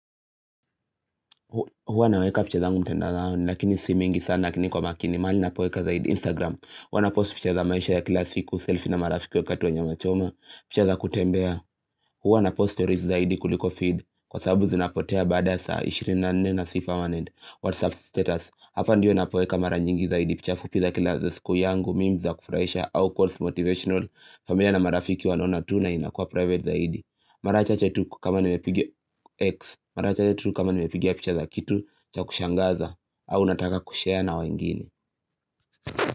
Huwa naweka picha zangu mtandaoni lakini si mingi sana lakini kwa makini. Mahali napoweka zaidi Instagram. Huwa na post picha za maisha ya kila siku selfie na marafiki wakati wa nyama choma, picha za kutembea. Huwa na post stories zaidi kuliko feed Kwa sababu zinapotea baada saa 24 na si permanent WhatsApp status. Hapa ndio napoweka mara nyingi zaidi picha fupi za kila siku yangu, Meme za kufuraisha, au course motivational familia na marafiki wanaona tu na inakuwa private zaidi. Mara chache tu kama nimepigia X Mara chache tu kama nimepigia picha za kitu cha kushangaza au nataka kushare na wengine.